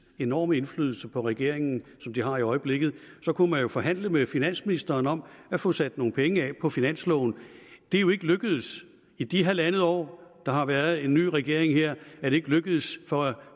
enorme indflydelse på regeringen som de har i øjeblikket forhandle med finansministeren om at få sat nogle penge af på finansloven det er jo ikke lykkedes i de halvandet år der har været en ny regering her er det ikke lykkedes